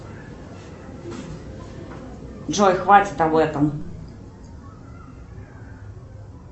джой хватит об этом